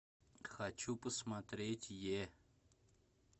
хочу посмотреть е